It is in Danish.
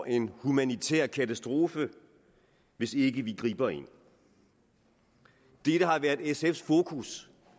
en humanitær katastrofe hvis vi ikke griber ind dette har været sfs fokus